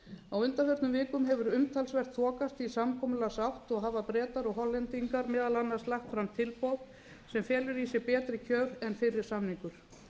á undanförnum vikum hefur umtalsvert þokast í samkomulagsátt og hafa bretar og hollendingar meðal annars lagt fram tilboð sem felur í sér betri kjör en fyrri samningur